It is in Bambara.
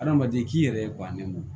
Adamaden k'i yɛrɛ bannen don